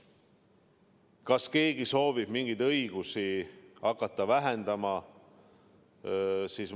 Kas keegi soovib mingeid õigusi hakata vähendama?